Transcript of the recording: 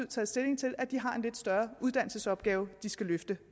taget stilling til at de har en lidt større uddannelsesopgave de skal løfte